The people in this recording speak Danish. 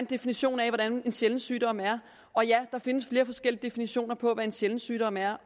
definition af hvad en sjælden sygdom er og ja der findes flere forskellige definitioner på hvad en sjælden sygdom er